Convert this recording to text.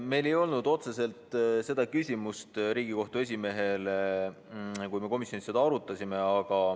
Meil ei olnud otseselt seda küsimust Riigikohtu esimehele, kui me komisjonis seda arutasime.